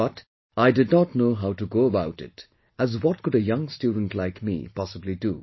But, I did not know how to go about it as what could a young student like me possibly do